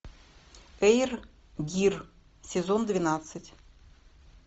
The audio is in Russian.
эйр гир сезон двенадцать